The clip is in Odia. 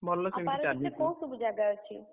ଆଉ ପାରାଦ୍ୱୀପରେ କୋଉ ସବୁ ଜାଗା ଅଛି?